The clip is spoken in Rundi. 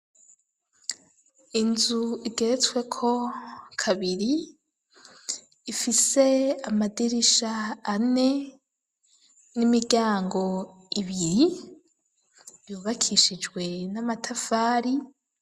Inzu igeretsweko kabiri ifise amadirisha ane n'imiryango ibiri vyubakishijwe n'amatafari.